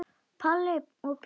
Palli og Pína hlaupa fram.